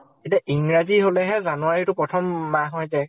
এতিয়া ইংৰাজী হলেহে january টো প্ৰথম মাহ হৈ যায়।